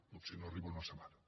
potser no arriba a una setmana